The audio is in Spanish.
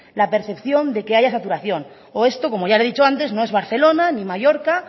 la percepción de que haya saturación o esto como ya le he dicho antes no es barcelona ni mallorca